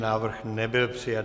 Návrh nebyl přijat.